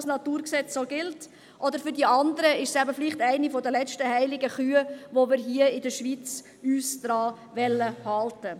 Für die anderen ist es vielleicht eine der letzten heiligen Kühe, an die wir uns hier in der Schweiz halten wollen.